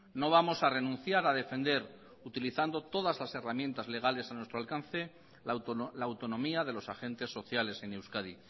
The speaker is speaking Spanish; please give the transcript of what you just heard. no vamos a renunciar a defender utilizando todas las herramientas legales a nuestro alcance la autonomía de los agentes sociales en euskadi